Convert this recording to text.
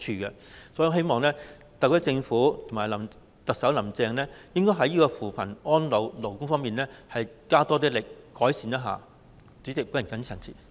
因此，我希望特區政府及特首"林鄭"在扶貧、安老、勞工方面加大改善的力度。